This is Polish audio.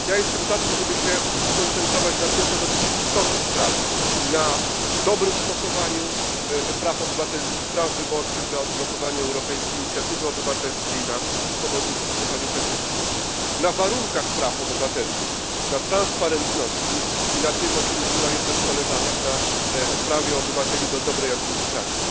Jestem za tym, żeby się skoncentrować na tym, co dotyczy istoty sprawy na dobrym stosowaniu praw obywatelskich, praw wyborczych, na odblokowaniu europejskiej inicjatywy obywatelskiej, na swobodnym stosowaniu petycji, na warunkach praw obywatelskich, na transparentności i na tym, o czym mówiła jedna z koleżanek na prawie obywateli do dobrej administracji.